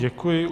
Děkuji.